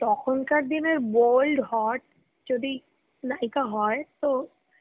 তখন কার দিন ই bold hot যদি কোনো নায়িকা হয় তো